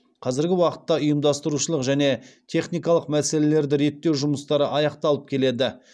қазіргі уақытта ұйымдастырушылық және техникалық мәселелерді реттеу жұмыстары аяқталып келеді